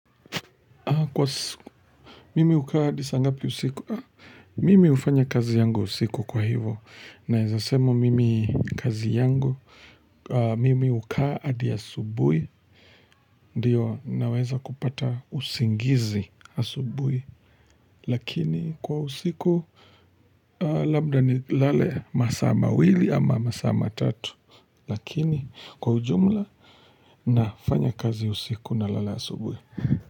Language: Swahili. Kwa siku, mimi hukaahadi saa ngapi usiku, mimi ufanya kazi yangu usiku kwa hivo, naeza sema mimi kazi yangu, mimi huka adi asubuhi, ndio naweza kupata usingizi asubuhi, lakini kwa usiku, labda ni lale masaa mawili ama masaa matatu, lakini kwa ujumla nafanya kazi usiku na lala asubuhi.